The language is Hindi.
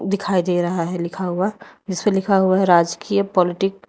दिखाई दे रहा है जिस पर लिखा हुआ राजकीय पॉलिटिक --